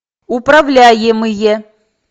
управляемые